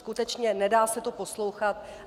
Skutečně, nedá se to poslouchat.